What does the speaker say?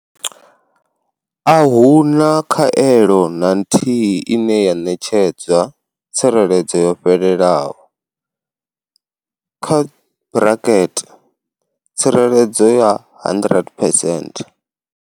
A hu na khaelo na nthihi ine ya ṋetshedza tsireledzo yo fhelelaho kha braket tsireledzo ya 100 phesenthe.